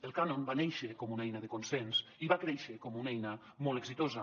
el cànon va néixer com una eina de consens i va créixer com una eina molt exitosa